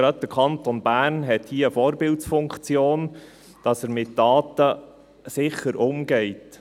Gerade der Kanton Bern hat hier eine Vorbildfunktion, indem er mit Daten sicher umgeht.